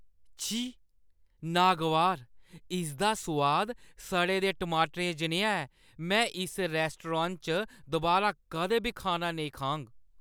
छी ! नागवार! इसदा सोआद सड़े दे टमाटरें जनेहा ऐ, में इस रेस्तरां च दुबारा कदें बी खाना नेईं खाङ।